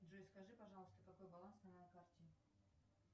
джой скажи пожалуйста какой баланс на моей карте